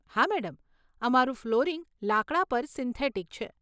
હા મેડમ, અમારું ફ્લોરિંગ લાકડા પર સિન્થેટિક છે.